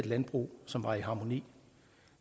landbrug som var i harmoni